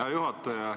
Hea juhataja!